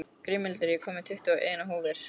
Grímhildur, ég kom með tuttugu og eina húfur!